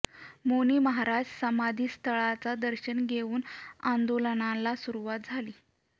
मौनी महाराज समाधी स्थळाच दर्शन घेवून आंदोलनाला सुरुवात झाली